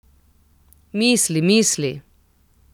Misli, misli.